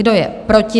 Kdo je proti?